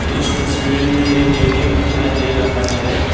इस तस्वीर में एक ए_टी_एम दिखाई दे रहा है।